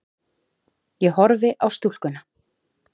Ég horfi á stúlkuna.